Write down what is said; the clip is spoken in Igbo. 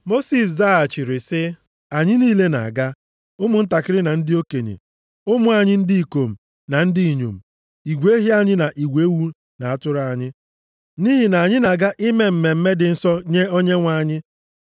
Mosis zaghachiri sị, “Anyị niile na-aga, ụmụntakịrị na ndị okenye, ụmụ anyị ndị ikom na ndị inyom, igwe ehi anyị na igwe ewu na atụrụ anyị; nʼihi na anyị na-aga ime mmemme dị nsọ nye Onyenwe anyị.”